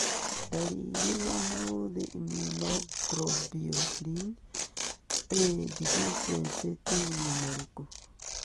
Ndariri na maũthĩ Immunoglobulin A deficiency 2 nĩ marĩkũ?